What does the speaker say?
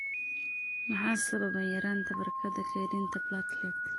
Maxaa sababa yaraanta barkada kaydinta platelet?